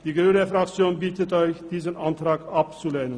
Die grüne Fraktion bittet Sie, diesen Antrag abzulehnen.